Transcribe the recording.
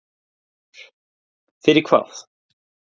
Berghildur: Fyrir hvað?